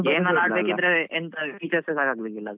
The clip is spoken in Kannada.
Game ಎಲ ಆಡ್ಲಿಕ್ಕೆ ಇದ್ರೆ features ಸಾಕುದಿಲ್ಲ.